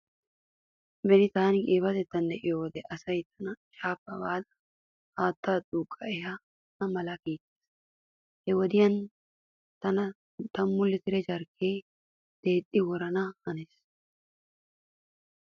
Beni taani qiibatettan diyo wode asay tana shaafaappe baada haattaa duuqqa ehana mala kiittees. He wode tana tammu litire jarkke deexxi worana hanees.